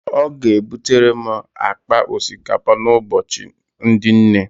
Ọ ga-ebutere m akpa osikapa n'Ụbọchị ndị Nne